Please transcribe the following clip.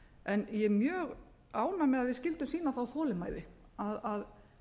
en ég er mjög ánægð með að við skyldum sýna þá þolinmæði að